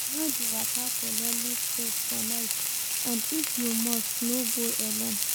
No de waka for lonely place for night and if you must, no go alone